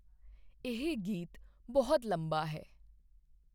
ਇਹ ਗੀਤ ਬਹੁਤ ਲੰਬਾ ਹੈ